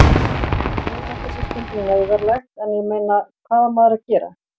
Þó þetta sé stundum neyðarlegt en ég meina, hvað á maður að gera?